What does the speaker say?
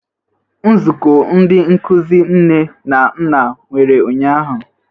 Nzukọ Ndị Nkụzi Nne na Nna nwere ụnyahụ?